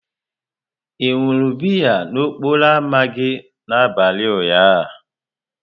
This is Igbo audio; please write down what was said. Ị ṅụrụ biya n'okporo ámá gị n'abalị ụnyaahụ?